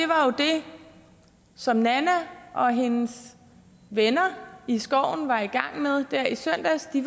som nanna og hendes venner i skoven var i gang med der i søndags de